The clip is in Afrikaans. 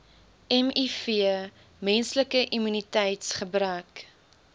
miv menslike immuniteitsgebrek